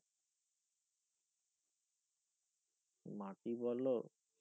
মাটি বলো